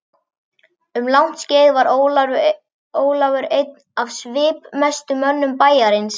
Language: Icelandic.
Um langt skeið var Ólafur einn af svipmestu mönnum bæjarins.